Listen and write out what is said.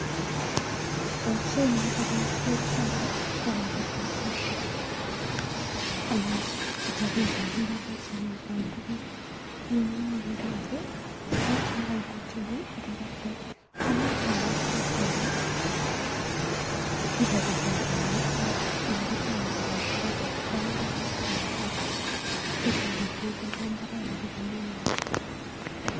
Boisiet ni ko boisiet noto bo kabatisiet anan chopetab imbaaret sikekol tuguk. Eng yu, ageere ale kiit nekaibati yu ko toroktet, amuchi anet chi ole kibotitoi anan ole kitoundoi kebatitoi imbaret ak tililet noto bo imbaaret sikonai inee.